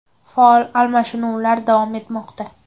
Faol almashinuvlar davom etmoqda.